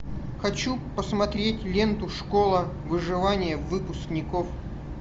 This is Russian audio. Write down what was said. хочу посмотреть ленту школа выживания выпускников